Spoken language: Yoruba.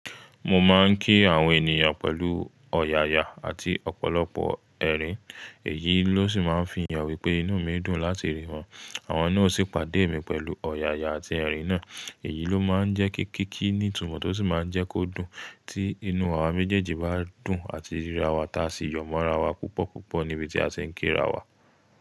Mo máa ń kí àwọn ènìyàn pẹ̀lú ọ̀yàyà àti ọ̀pọ̀lọpọ̀ ẹ̀rín, èyí ló sì máa ń fi hàn wípé inú mi dùn láti rí wọn. Àwọn náà sì pàdé mi pẹ̀lú ọ̀yàyà àti ẹ̀rín náà, èyí ló má ń jẹ́ ki kiki ní ìtumọ̀ tó sì má ń jẹ́ kó dùn tí inú àwa méjèèjì bá dùn àti ríra wa tá sì yọmọ ra wa púpọ̀púpọ̀ níbi tí a ṣe ń ké ra wa.